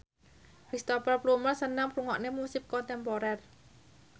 Cristhoper Plumer seneng ngrungokne musik kontemporer